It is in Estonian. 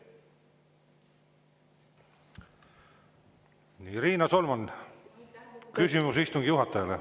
Riina Solman, küsimus istungi juhatajale.